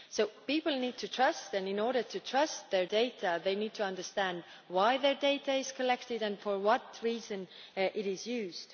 So people need to trust, and in order to entrust their data they need to understand why their data is collected and for what reason it is used.